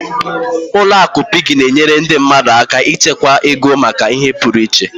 Ụlọ akụ Piggy na-enyere ndị mmadụ aka ịchekwa ego maka ihe pụrụ iche.